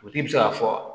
Dugutigi bɛ se ka fɔ